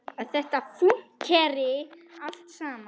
Að þetta fúnkeri allt saman.